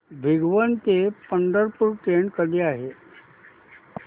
भिगवण ते पंढरपूर ट्रेन कधी आहे